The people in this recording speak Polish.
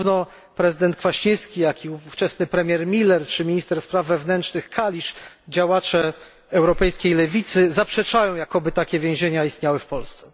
Zarówno prezydent Kwaśniewski, jak i ówczesny premier Miller czy minister spraw wewnętrznych Kalisz działacze europejskiej lewicy zaprzeczają, jakoby takie więzienia istniały w Polsce.